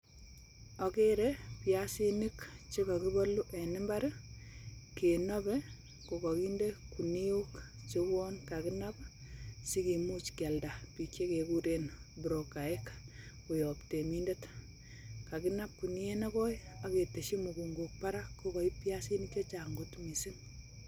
Ageree biasinik chekokiboolu en imbaar i,kinobee kokakindee ginuok cheuon kakinab sikimuch kialdaa bik chekekureen brokaek koyoob reminder, kinoobe ak ketesyii mugungook barak biasinik chechang kot missing